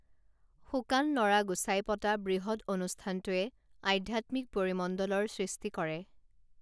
শুকান নৰা গুচাই পতা বৃহৎ অনুষ্ঠানটোৱে আধ্যাত্মিক পৰিমণ্ডলৰ সৃষ্টি কৰে